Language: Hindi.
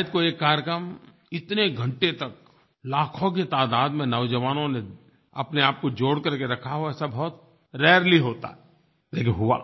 शायद कोई एक कार्यक्रम इतने घंटे तक लाखों की तादाद में नौजवानों ने अपनेआप को जोड़ करके रखा और ऐसा बहुत रारेली होता है लेकिन हुआ